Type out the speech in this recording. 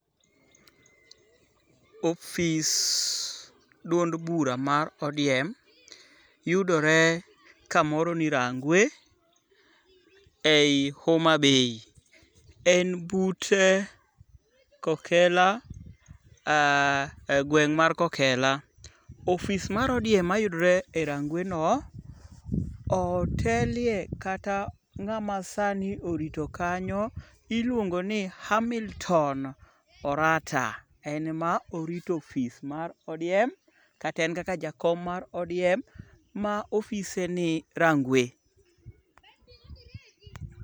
Ofis duond bura mar ODM yudore kamoro ni Rangwe ei Homabay. En but Kokela,e gweng' mar Kokela. Ofis mar ODM mayudore e rangweno, otelye kata ng'ama sani orito kanyo iluongo ni Hamilton Orata, en ema orito ofis mar ODM kata en kaka jakom mar ODM ma ofise ni Rangwe.